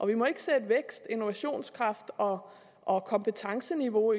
vi må ikke sætte vækst innovationskraft og og kompetenceniveau